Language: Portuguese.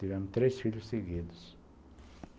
Tivemos três filhos seguidos.